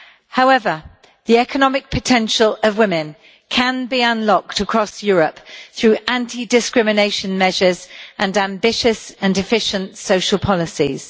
However, the economic potential of women can be unlocked across Europe through anti discrimination measures and ambitious and efficient social policies.